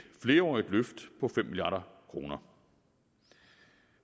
flerårigt løft på fem milliard kroner